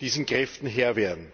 dieser Kräfte Herr werden.